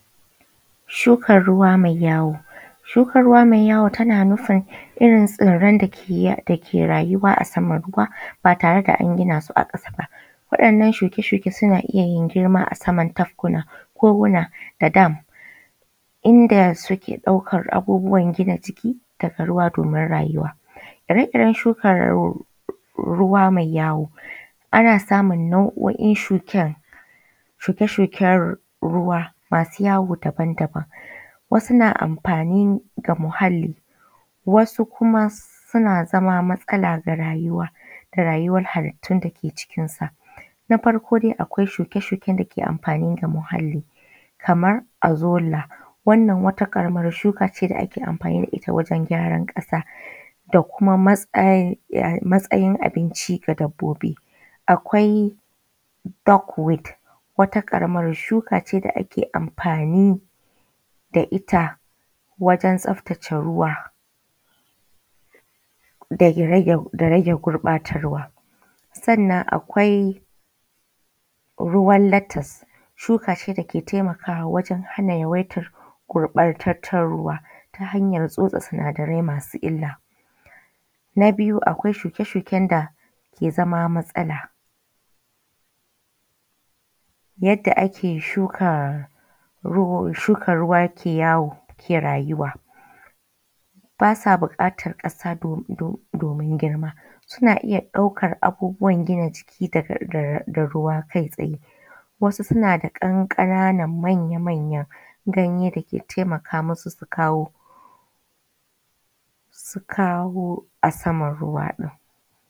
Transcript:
Shukar ruwa mai yawo. Shukar ruwa mai yawo tana nufin irin tsirran da ke rayuwa a saman ruwa ba tare da an gina su a ƙasa ba. Waɗannan shuke-shuke suna iya yin girma a saman tafkuna koguna da dam inda suke ɗaukar abubuwan gina jiki daga ruwa domin rayuwa. Ire-iren shukan ruwa mai yawo ana samun nau’o’in shuken, shuke-shuken ruwa masu yawo daba-daban; wasu na amfani da muhalli, wasu kuma suna zama matsala ga rayuwa da rayuwar halittun da ke cikin sa. Na farkon dai akwai shuke-shuken da ke amfani da muhalli kamar arzolla, wannan wata ƙaramar shuka ce da ake amfani da ita wajen gyaran ƙasa da kuma matsa matsayin abinci ga dabbobi. Akwai docwit, wata ƙaramar shuka ce da ake amfani da ita wajen tsabtace ruwa da rage gurɓatar ruwa. Sannan akwai ruwan latas, shuka ce da ke taimakawa waje hana yawaitar gurɓatattar ruwa ta hanyar tsotse sinadarai masu illa. Na biyu akwai shuke-shuken da ke zama matsala. Yadda ake shuka ruu shukar ruwa ke yawo ke rayuwa, basa buƙatar ƙasa domin girma, suna iya ɗaukar abubuwan gina jiki daga ruwa kai tsaye wasu suna da ƙanƙananan manya manyan ganye da ke taimaka masu su kawo, su kawo a saman ruwa ɗin.